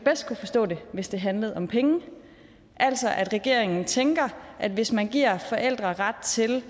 kunne forstå det hvis det handlede om penge altså at regeringen tænker at hvis man giver forældre ret til